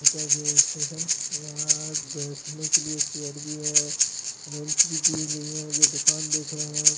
--का ये स्टेशन है यहां बैठने के लिए चेयर भी है बैंच भी दी गई है ये दुकान देख रहे हैं आप।